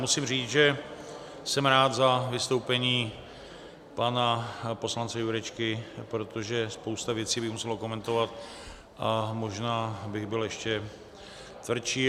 Musím říct, že jsem rád za vystoupení pana poslance Jurečky, protože spoustu věcí bych musel okomentovat a možná bych byl ještě tvrdší.